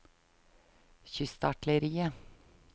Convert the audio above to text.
kystartilleriet